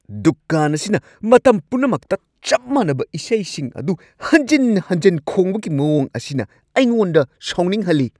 ꯗꯨꯀꯥꯟ ꯑꯁꯤꯅ ꯃꯇꯝ ꯄꯨꯝꯅꯃꯛꯇ ꯆꯞ ꯃꯥꯟꯅꯕ ꯏꯁꯩꯁꯤꯡ ꯑꯗꯨ ꯍꯟꯖꯤꯟ-ꯍꯟꯖꯤꯟ ꯈꯣꯡꯕꯒꯤ ꯃꯋꯣꯡ ꯑꯁꯤꯅ ꯑꯩꯉꯣꯟꯗ ꯁꯥꯎꯅꯤꯡꯍꯜꯂꯤ ꯫